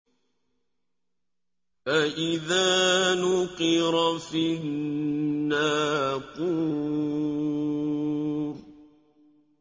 فَإِذَا نُقِرَ فِي النَّاقُورِ